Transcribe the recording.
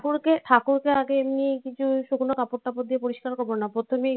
ঠাকুরকে ঠাকুরকে আগে এমনি কিছু শুকনো কাপড় টাপড় দিয়ে পরিস্কার করবো না প্রথমেই